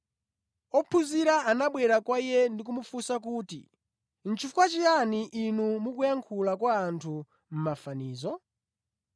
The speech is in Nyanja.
Ophunzira anabwera kwa Iye ndikumufunsa kuti, “Chifukwa chiyani Inu mukuyankhula kwa anthu mʼmafanizo?”